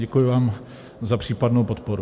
Děkuji vám za případnou podporu.